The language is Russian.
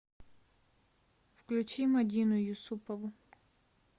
включи мадину юсупову